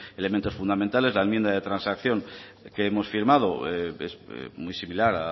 elementos fundamentales la enmienda de transacción que hemos firmado es muy similar